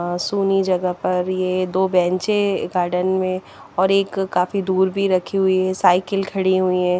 सुनी जगह पर ये दो बेंचे गार्डन में और एक काफी दूर भी रखी हुई हैं साइकिल खड़ी हुई हैं।